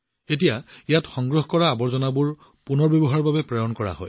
এতিয়া ইয়াত সংগ্ৰহ কৰা আৱৰ্জনাবোৰ পুনৰ্ব্যৱহাৰৰ বাবে প্ৰেৰণ কৰা হৈছে